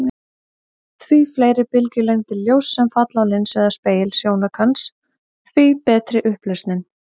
Því fleiri bylgjulengdir ljóss sem falla á linsu eða spegil sjónaukans, því betri er upplausnin.